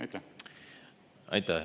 Aitäh!